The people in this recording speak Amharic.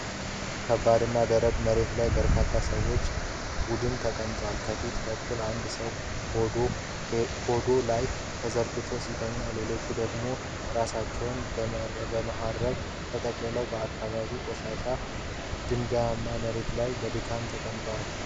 ከባድና ደረቅ መሬት ላይ በርካታ የሰዎች ቡድን ተቀምጧል። ከፊት በኩል አንድ ሰው ሆዱ ላይ ተዘርግቶ ሲተኛ፣ ሌሎች ደግሞ ራሳቸውን በመሀረብ ተጠቅልለው በአካባቢው ቆሻሻና ድንጋያማ መሬት ላይ በድካም ተቀምጠዋል።